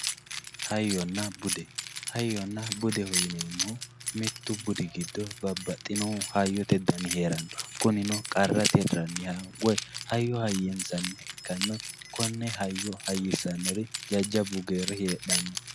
Hayyona bude hayyona dube yinemohu mitu budi giddo babaxinohu hayyote budi heerano kunino qarra tiraniha hayyo haynsaniha ikana konne hayyo hayisanori jajabu geeri hedhano.